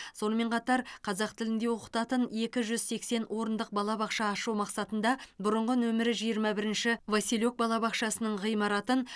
сонымен қатар қазақ тілінде оқытатын екі жүз сексен орындық балабақша ашу мақсатында бұрынғы нөмірі жиырма бірінші василек балабақшасының ғимаратын